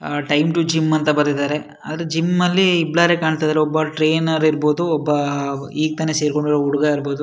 Ah time to gym ಬರೆದಿದ್ದಾರೆ ಆದ್ರೆ gym ಅಲ್ಲಿ ಬ್ಲರ ಕಾಣ್ತಾಯಿದೆ ಒಬ್ಬ ಟ್ರೈನರ್ ಇರ್ಬಹುದು ಒಬ್ಬ ಈಗ್ ತಾನೇ ಸೇರ್ಕೊಂಡಿರೋ ಹುಡ್ಗ ಇರ್ಬಹುದು.